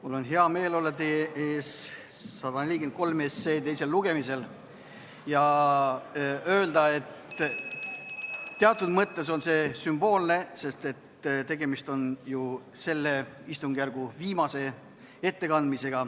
Mul on hea meel olla teie ees 143 teisel lugemisel ja öelda, et teatud mõttes on see sümboolne, sest tegemist on ju selle istungjärgu viimase ettekandega.